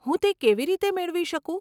હું તે કેવી રીતે મેળવી શકું?